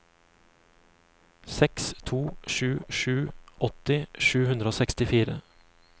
seks to sju sju åtti sju hundre og sekstifire